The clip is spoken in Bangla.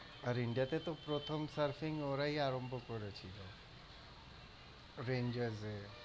আর India তে তো প্রথম surfing ওরাই আরম্ভ করেছিল। ওটা enjoy হয়েগেছে।